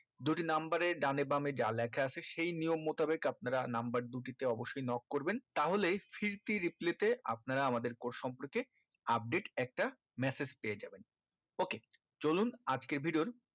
দুটি number এ দনে বামে যা লিখা আছে সেই নিয়ম মুতাবিক আপনারা number দুটিতে অবশ্যই knock করবেন তাহলে replay তে আপনারা আমাদের course সম্পর্কে update একটা massage পেয়ে যাবেন ok চলুন আজকের video র